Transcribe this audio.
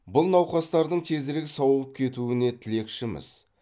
бұл науқастардың тезірек сауығып кетуіне тілекшіміз